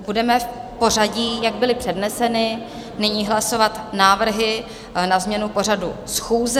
Budeme v pořadí, jak byly předneseny, nyní hlasovat návrhy na změnu pořadu schůze.